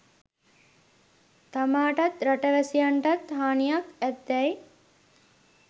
තමාටත් රට වැසියන්ටත් හානියක් ඇද්දැයි